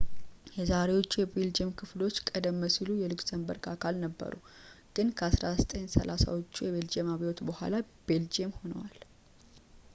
የዛሬዎቹ የቤልጅየም ክፍሎች ቀደም ሲል የሉክሰምበርግ አካል ነበሩ ግን ከ 1830 ዎቹ የቤልጂየም አብዮት በኋላ ቤልጅየም ሆነዋል